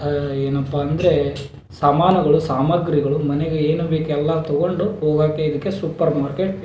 ಏನಪ್ಪ ಅಂದ್ರೆ ಸಮಾನುಗಳು ಸಾಮಾಗ್ರಿಗಳು ಮನೆಗೆ ಏನು ಬೇಕು ಎಲ್ಲ ತಗೊಂಡು ಹೋಗಾಕೆ ಇದಕ್ಕೆ ಸುಪ್ಪರ್ ಮಾರ್ಕೆಟ್ .